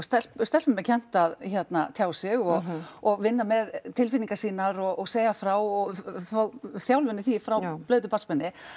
stelpum er kennt að hérna tjá sig og og vinna með tilfinningar sýnar og segja frá og fá þjálfun í því frá blautu barnsbeini